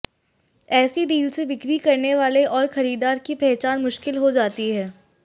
ऐसी डील से बिक्री करने वाले और खरीदार की पहचान मुश्किल हो जाती है